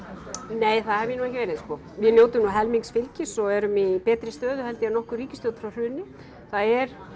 nei það hef ég nú ekki verið sko við njótum nú helmings fylgis og erum í betri stöðu heldur en nokkur ríkisstjórn frá hruni það er